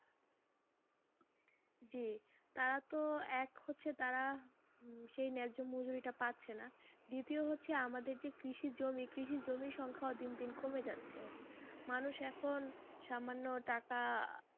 জি তারা তো এক হচ্ছে তারা উম সেই ন্যায্য মজুরিটা পাচ্ছে না দ্বিতীয় হচ্ছে আমাদের যে কৃষির জমি, কৃষির জমির সংখ্যা ও দিন দিন কমে যাচ্ছে মানুষ এখন সামান্য টাকা,